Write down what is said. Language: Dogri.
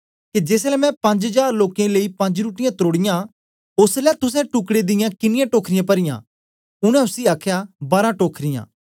के जेसलै मैं पंज जार लोकें लेई पंज रुट्टीयाँ त्रोड़ीयां ओसलै तुसैं टुकड़े दियां किनीयां टोखरियां परीयां उनै उसी आखया बारा टोखरियां